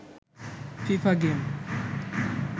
FIFA game